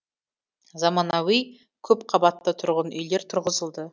заманауи көпқабатты тұрғын үйлер тұрғызылды